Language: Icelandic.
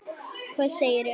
Hvað segirðu um þau rök?